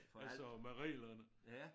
Altså med reglerne